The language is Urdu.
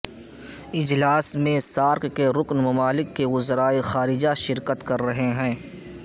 اجلاس میں سارک کے رکن ممالک کے وزرائے خارجہ شرکت کررہے ہیں